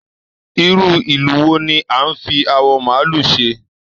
Irú ìlù wò ni a n fí awọ maálù ṣe?